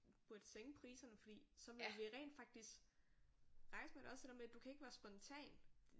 Burde sænke priserne fordi så ville vi rent faktisk rejse med det også det der med du kan ikke være spontan